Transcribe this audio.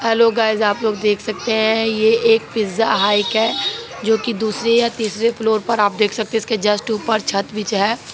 Hello guys आप लोग देख सकते हैं यह एक पिज्जा हाइक है जो दूसरी या तीसरी फ्लोर पर आप देख सकते हैं इसके जस्ट ऊपर छत है।